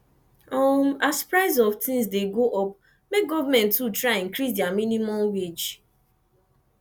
um as price of things de go up make government too try increase their minimum wage